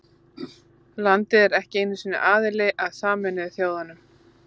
Landið er ekki einu sinni aðili að Sameinuðu þjóðunum.